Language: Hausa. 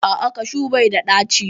A'a, kashu bai da ɗaci